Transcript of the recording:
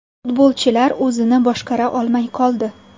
Futbolchilar o‘zini boshqara olmay qoldi.